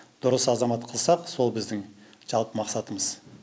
дұрыс азамат қылсақ сол біздің жалпы мақсатымыз